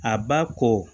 A ba ko